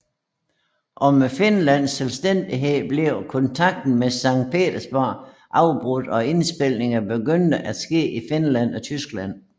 I og med Finlands selvstændighed blev kontakten med Sankt Petersborg afbrudt og indspilninger begyndte at ske i Finland og Tyskland